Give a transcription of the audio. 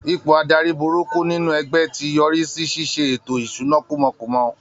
Ipò adarí burúkú nínú ẹgbẹ́ ti yọrí sí ṣíṣe ètò ìṣúná kúmọkúmọ